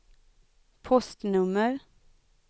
postnummer